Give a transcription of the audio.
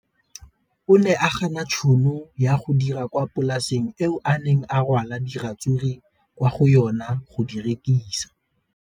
O ne a gana tšhono ya go dira kwa polaseng eo a neng rwala diratsuru kwa go yona go di rekisa.